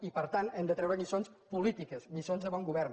i per tant hem de treure’n lliçons polítiques lliçons de bon govern